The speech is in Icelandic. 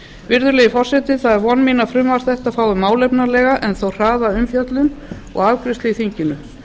virðulegi forseti það er von mín að frumvarp þetta fái málefnalega en þó hraða umfjöllun og afgreiðslu í þinginu